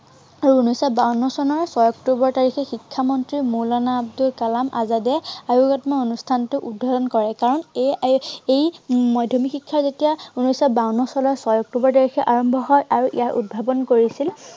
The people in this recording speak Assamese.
আৰু উনৈশ শ বাৱন্ন চনৰ ছয় অক্টোৱৰ তাৰিখে শিক্ষামন্ত্ৰী মৌলানা আব্দুল কালাম আজাদে অনুষ্ঠানটো উদ্বোধন কৰে। কাৰন এই মাধ্য়মিক শিক্ষা যেতিয়া উনেশ শ বাৱন্ন চনৰ ছয় অক্টোৱৰ তাৰিখে আৰম্ভ হয় াৰু ইয়াৰ উদ্ভাৱন কৰিছিল